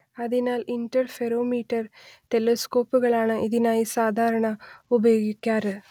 അതിനാൽ ഇന്റർഫെറൊമീറ്റർ ടെലസ്കോപ്പുകളാണ് ഇതിനായി സാധാരണ ഉപയോഗിക്കാറ്